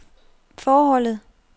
forholdet